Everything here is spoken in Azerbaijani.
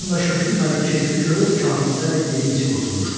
Bu yandan Şökülü Məlik keyfi kök kafirlərlə yeyib-içib oturmuşdu.